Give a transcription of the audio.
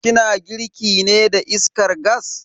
Ki na girki ne da iskar gas?